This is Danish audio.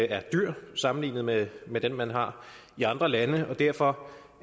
er dyr sammenlignet med med den man har i andre lande og derfor